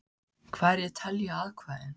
Hverjir telja atkvæðin?